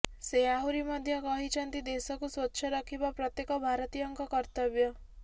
ସେ ଆହୁରି ମଧ୍ୟ କହିଛନ୍ତି ଦେଶକୁ ସ୍ବଚ୍ଛ ରଖିବା ପ୍ରତ୍ୟେକ ଭାରତୀୟଙ୍କ କର୍ତ୍ତବ୍ୟ